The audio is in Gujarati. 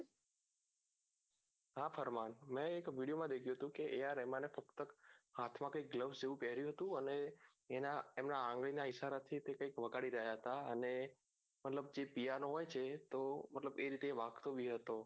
મેં એક video માં દેખ્યું હતું કે એ આ રહેમાને ફક્ત હાથયાં કઈંક પાહેર્યું હતું અને એમના આગળીનાં ઇશારાથી એ કૈઇક વગાડી રહ્યા હતા અને મતલબ કે હોય છે મતલબ કે એ રીતે વાગતો બી હતો